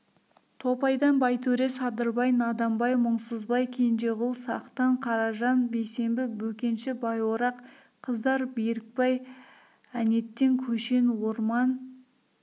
топайдан байтөре садырбай наданбай мұңсызбай кенжеғұл сақтан қаражан бейсембі бөкенші байорақ қыздар берікбай әнеттен көшен орман